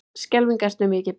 Skelfing ertu mikið barn.